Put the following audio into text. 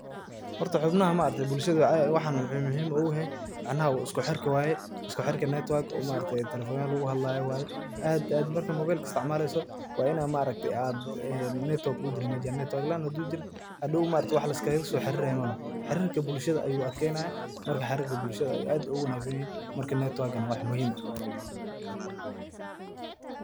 Horta xubnaha ma aragte bulshada waxan wuxuu muhim ogu yahay, macnaha isku xirka waye, isku xirki network oo talefonaha lugu hadalyo waye aad aad marka mobelka isticmaaleso wa ina ma aragte ad e network ujira mesha hadi network laan hadu jirin hadhow ma aragte wax liskalaso xariray maloho, xarirka bulshada ayu adkeynaya. marka xarirka bulshada ayu aad ogu wanaagsanyehe marka netwagana wax muhim eh